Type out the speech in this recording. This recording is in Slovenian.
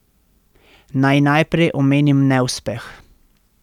Naj najprej omenim neuspeh.